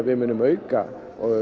við munum auka